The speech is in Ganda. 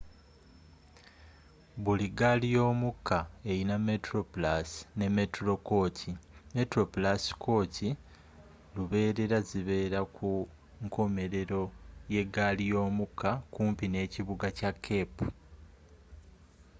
buli ggaali yomukka erina metroplus ne metro kooki metroplus kooki lubeerera zibeera ku nkomerero yegaali yomukka kumpi nekibuga kya cape